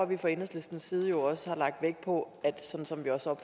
vi fra enhedslistens side jo også lagt vægt på